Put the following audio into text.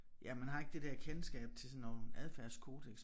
Ja man har ikke det der kendskab til sådan noget adfærdskodeks